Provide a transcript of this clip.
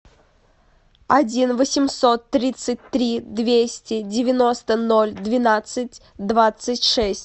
один восемьсот тридцать три двести девяносто ноль двенадцать двадцать шесть